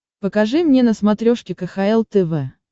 покажи мне на смотрешке кхл тв